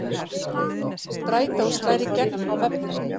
Strætó slær í gegn á vefnum